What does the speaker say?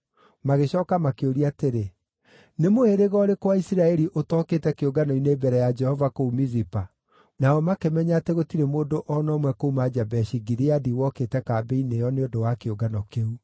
Magĩcooka makĩũria atĩrĩ, “Nĩ mũhĩrĩga ũrĩkũ wa Isiraeli ũtokĩte kĩũngano-inĩ mbere ya Jehova kũu Mizipa?” Nao makĩmenya atĩ gũtirĩ mũndũ o na ũmwe kuuma Jabeshi-Gileadi wokĩte kambĩ-inĩ ĩyo nĩ ũndũ wa kĩũngano kĩu.